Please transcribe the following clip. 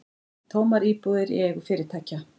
Tómar íbúðir í eigu fyrirtækja